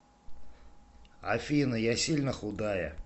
афина я сильно худая